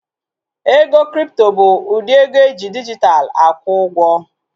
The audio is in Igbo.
Ego kripto bụ ụdị ego eji dijitalụ akwụ ụgwọ